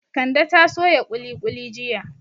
Kande ta soya kuli kuli jiya